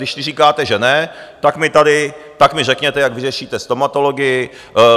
Když vy říkáte, že ne, tak mi řekněte, jak vyřešíte stomatologii.